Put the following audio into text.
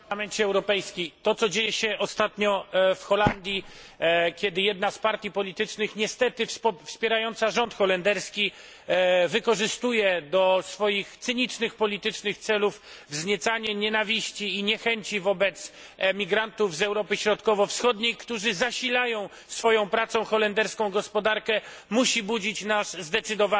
To, co dzieje się ostatnio w Holandii, kiedy jedna z partii politycznych, niestety wspierająca rząd holenderski, wykorzystuje do swoich cynicznych politycznych celów wzniecanie nienawiści i niechęci wobec migrantów z Europy Środkowo Wschodniej, którzy zasilają swoją pracą holenderską gospodarkę, musi budzić nasz zdecydowany sprzeciw.